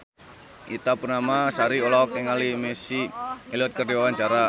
Ita Purnamasari olohok ningali Missy Elliott keur diwawancara